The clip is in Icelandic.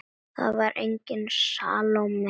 Það var engin Salóme hér.